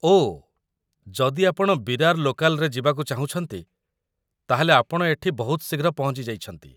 ଓଃ, ଯଦି ଆପଣ ବିରାର ଲୋକାଲ୍‌ରେ ଯିବାକୁ ଚାହୁଁଛନ୍ତି ତା'ହେଲେ ଆପଣ ଏଠି ବହୁତ ଶୀଘ୍ର ପହଞ୍ଚିଯାଇଛନ୍ତି ।